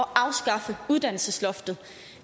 afskaffe uddannelsesloftet